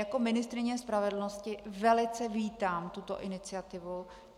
Jako ministryně spravedlnosti velice vítám tuto iniciativu.